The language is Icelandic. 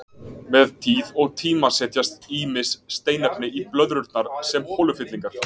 Með tíð og tíma setjast ýmis steinefni í blöðrurnar sem holufyllingar.